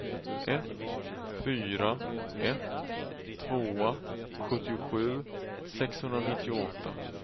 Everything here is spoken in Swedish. ett fyra ett två sjuttiosju sexhundranittioåtta